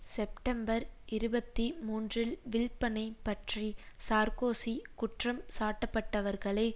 September இருபத்தி மூன்றில் வில்ப்பனைப் பற்றி சார்க்கோசி குற்றம் சாட்டப்பட்டவர்களை